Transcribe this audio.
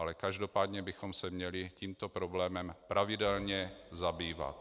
Ale každopádně bychom se měli tímto problémem pravidelně zabývat.